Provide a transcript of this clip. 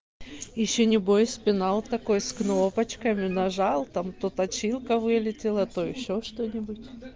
ещё не бойся пенал такой с кнопочками нажал там то точилка вылетела то ещё что-нибудь